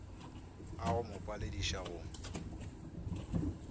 a go mo palediša go